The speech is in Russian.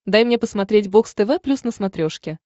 дай мне посмотреть бокс тв плюс на смотрешке